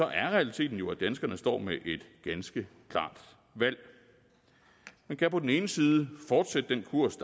er realiteten jo at danskerne står med et ganske klart valg man kan på den ene side fortsætte den kurs